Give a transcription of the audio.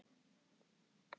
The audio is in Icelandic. Nei pabbi.